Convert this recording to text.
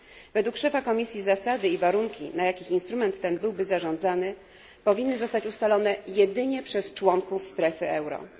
Według szefa Komisji zasady i warunki, na jakich instrument ten byłby zarządzany, powinny zostać ustalone jedynie przez członków strefy euro.